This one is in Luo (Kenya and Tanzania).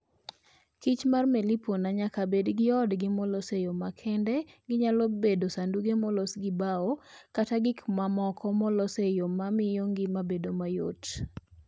Kich mar melipona nyaka bed gi odgi molos e yo makende ginyalo bedo sanduge molos gi bao kata gik mamoko molos e yo ma miyo ngima bedo mayot.